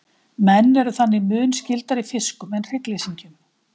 menn eru þannig mun skyldari fiskum en hryggleysingjum